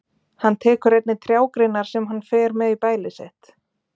Hann tekur einnig trjágreinar sem hann fer með í bælið sitt.